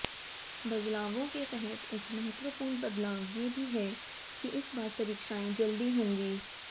बदलावों के तहत एक महत्वपूर्ण बदलाव ये भी है कि इस बार परीक्षाएं जल्दी होंगी